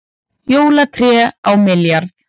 Jólatré á milljarð